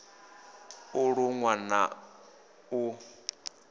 u ṱun ḓwa na u